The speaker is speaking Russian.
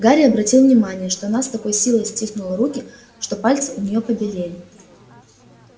гарри обратил внимание что она с такой силой стиснула руки что пальцы у неё побелели